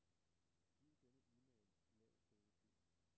Giv denne e-mail lav prioritet.